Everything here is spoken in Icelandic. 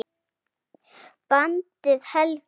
Bandið helga